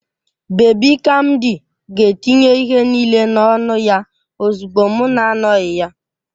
Babi kamdi ga-etinye ihe niile n'ọnụ ya ozugbo m na-anọghị ya